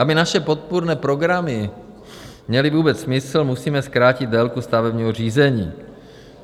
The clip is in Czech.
Aby naše podpůrné programy měly vůbec smysl, musíme zkrátit délku stavebního řízení.